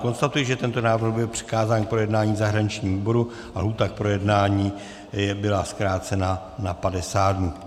Konstatuji, že tento návrh byl přikázán k projednání zahraničnímu výboru a lhůta k projednání byla zkrácena na 50 dnů.